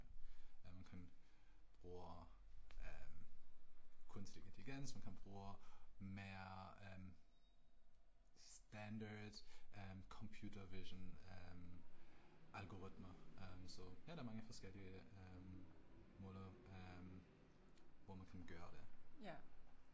Øh man kan bruge øh kunstig intelligens man kan bruge mere standard computer vision øh algoritme, så ja der er mange forskellige måder øh hvor man kan gøre det